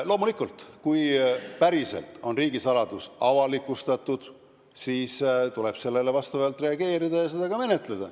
Loomulikult, kui päriselt on riigisaladus avalikustatud, siis tuleb sellele vastavalt reageerida ja seda ka menetleda.